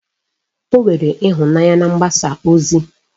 Ọ nwere ịhụnanya na mgbasa ozi